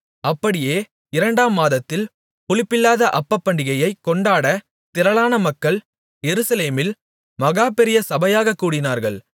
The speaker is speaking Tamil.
அப்படியே இரண்டாம் மாதத்தில் புளிப்பில்லாத அப்பப்பண்டிகையைக் கொண்டாடத் திரளான மக்கள் எருசலேமில் மகாபெரிய சபையாகக் கூடினார்கள்